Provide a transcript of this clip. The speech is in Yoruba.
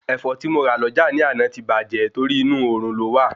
Ẹ̀fọ́ tí mo rà lọ́jà ni àná ti bàjé torí inú òrùn lọ́ wà